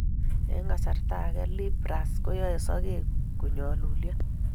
Eng kasarta ege,(leaf rust) koyoei sokek konyoolulyo